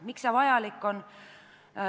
Miks see vajalik on?